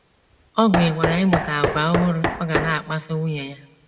Ọ gụnyekwara ịmụta àgwà ọhụrụ ọ ga na - akpaso nwunye ya.